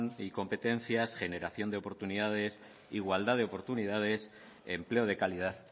y competencia generación de oportunidades igualdad de oportunidades empleo de calidad